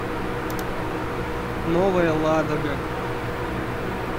новая ладога